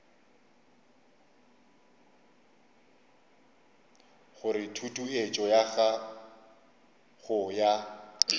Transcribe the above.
gore tutuetšo ya go ya